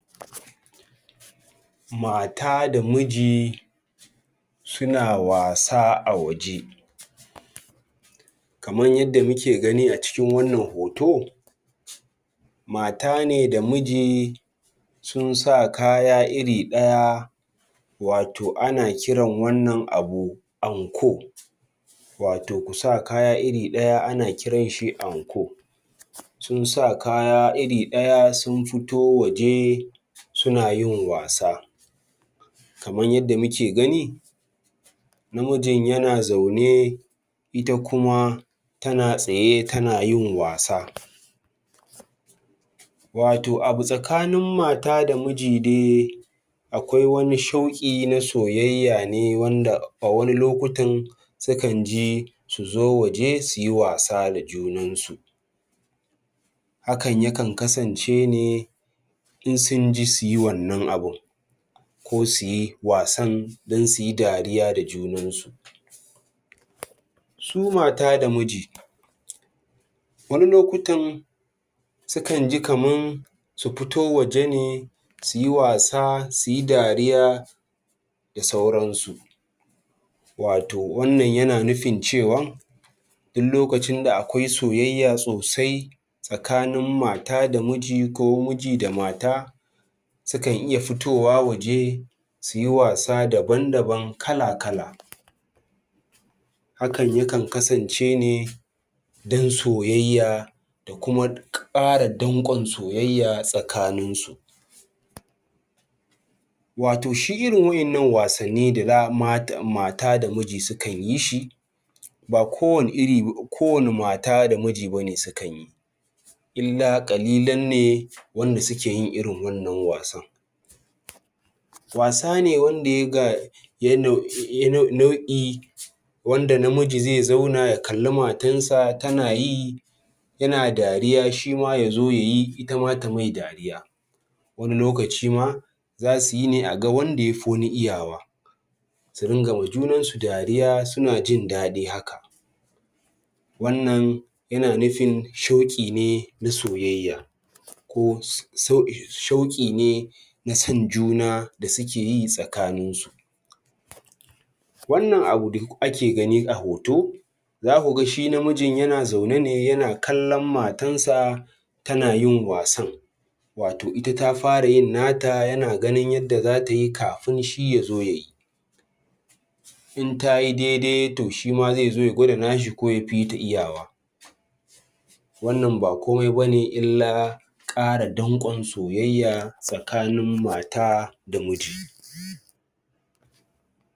Mata da miji suna wasa a waje, kamar yadda muke gani a cikin wannan hoto mata ne da miji sun sa kaya iri ɗaya wato ana kiran wannan abu anko wato kusa kaya iri ɗaya ana kiranshi anko sun sa kaya iri ɗaya sun fito waje suna yin wasa kamar yadda muke gani namijin yana zaune ita kuma tana tsaye tana yin wasa, wato abu tsakanin mata da miji de akwai wani shauƙi na soyayya ne wanda a wani lokutan sukan ji su zo waje su yi wasa da junansu hakan yakan kasance ne in sun ji su yi wannan abin ko su yi wasan don su yi dariya da junansu su mata da miji wani lokutan sukan ji kaman su fito waje ne su yi wasa, su yi dariya da sauransu wato wannan yana nufin cewan in lokacin da akwai soyayya sosai tsakanin mata da miji ko miji da mata sukan iya fitowa waje su yi wasa daban-daban kala-kala Hakan yakan kasance ne don soyayya da kuma ƙara danƙon soyayya tsakaninsu wato shi irin wa’innan wasanni da za Mata da miji sukan yi shi ba kowa ne iri, ko wane mata da miji ba ne sukan yi, illa ƙalilan ne wanda suke yin irin wannan wasan, wasa ne wanda ya ga nau'i wanda namiji zai zauna ya kalli matansa tana yi yana dariya shima ya zo ya yi itama ta mai dariya wani lokaci ma zasu yi ne a ga wanda yafi wani iyawa su ringa ma junansu dariya suna jin daɗi haka wannan yana nufin shauƙi ne na soyayya ko shauƙi ne na son juna da suke yi tsakaninsu wannan abu da ake gani a hoto zaku ga shi namijin yana zaune ne yana kallon matarnsa tana yin wasan wato ita ta fara yin nata yana ganin yadda zata yi kafin shi ya zo ya yi, in ta yi daidai to shima zai zo ya gwada nashi ko yafi ta iyawa wannan ba komai ba ne illa ƙara danƙon soyayya tsakanin mata da miji